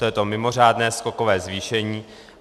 To je to mimořádné skokové zvýšení.